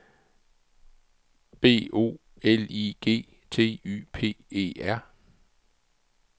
B O L I G T Y P E R